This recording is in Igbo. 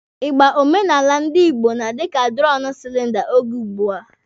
Ịgba omenala ndi Igbo na-adị ka dụrọmụ silinda oge ugbua.